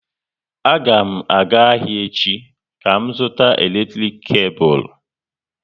A ga m aga ahịa echi ka m zụta eletrik kebul